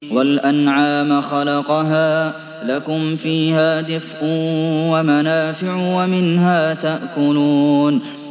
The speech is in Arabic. وَالْأَنْعَامَ خَلَقَهَا ۗ لَكُمْ فِيهَا دِفْءٌ وَمَنَافِعُ وَمِنْهَا تَأْكُلُونَ